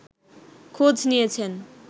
খোঁজ নিয়েছেন